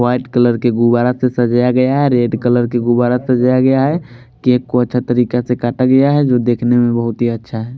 White colour के गुब्बारा से सजाया गया है रेड कलर के गुब्बारा से सजाया गया है केक को अच्छा तरीके से काटा गया है जो देखने में बहुत ही अच्छा है।